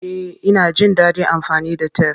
Eh, ina jin dadin amfani da tef.